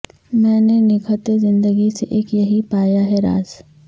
میں نے نگہت زندگی سے اک یہی پایا ہے راز